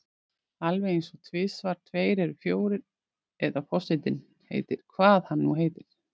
Alveg einsog tvisvar tveir eru fjórir eða forsetinn heitir hvað hann nú heitir.